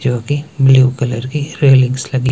जो कि blue colour की रेलिंग्स लगी--